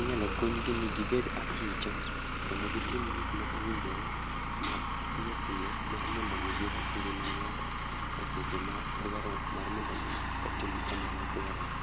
Inyalo puonj gi ni gibed akicha, kendo gitim gik ma owinjore ma piyo piyo mar mondo omi gires ngima ngáto e seche ma dwaro mar mondo omi otim kamano dwarore.